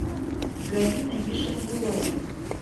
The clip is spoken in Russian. галина ешенгулова